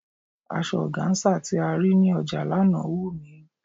Asọ ọgáńsà tí a rí ní ọjà lánàá wù mí.